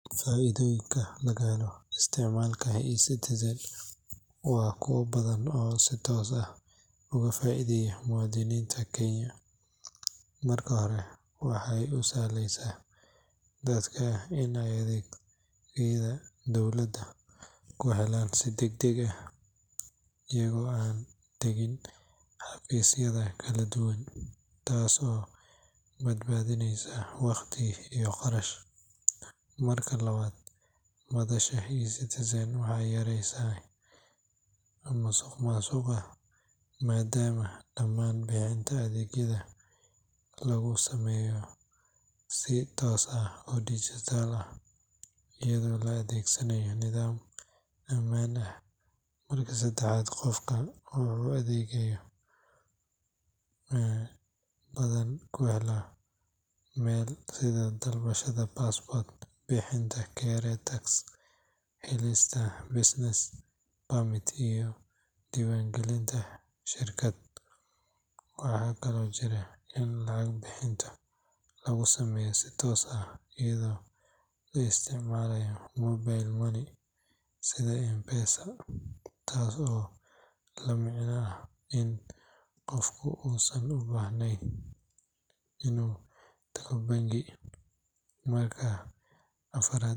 Faa’iidooyinka laga helo isticmaalka eCitizen waa kuwo badan oo si toos ah uga faa’iideeya muwaadiniinta Kenya. Marka hore, waxay u sahlaysaa dadka in ay adeegyada dowladda ku helaan si degdeg ah, iyagoo aan tegin xafiisyo kala duwan, taas oo badbaadinaysa waqti iyo kharash. Marka labaad, madasha eCitizen waxay yareysay musuqmaasuqa maadaama dhammaan bixinta adeegyada lagu sameeyo si toos ah oo dhijitaal ah, iyadoo la adeegsanayo nidaam ammaan ah. Marka saddexaad, qofka wuxuu adeegyo badan ku heli karaa hal meel, sida dalbashada passport, bixinta KRA tax, helista business permit, iyo diiwaangelinta shirkad. Waxaa kaloo jirta in lacag bixinta lagu sameeyo si toos ah iyadoo la isticmaalayo mobile money sida M-Pesa, taas oo la micno ah in qofku uusan ubaahnayn inuu tago bangi. Marka afraad,